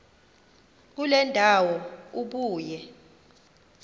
kule ndawo ubuye